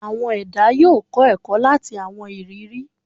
Awọn ẹda yoo kọ ẹkọ lati awọn iriri